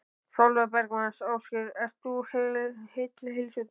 Sólveig Bergmann: Ásgeir, ert þú heill heilsu í dag?